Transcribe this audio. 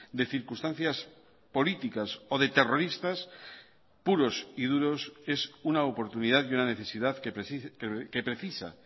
de circunstancias políticas o de terroristas puros y duros es una oportunidad y una necesidad que precisa